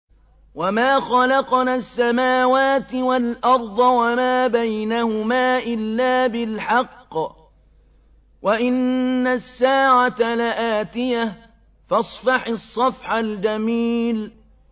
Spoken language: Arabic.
وَمَا خَلَقْنَا السَّمَاوَاتِ وَالْأَرْضَ وَمَا بَيْنَهُمَا إِلَّا بِالْحَقِّ ۗ وَإِنَّ السَّاعَةَ لَآتِيَةٌ ۖ فَاصْفَحِ الصَّفْحَ الْجَمِيلَ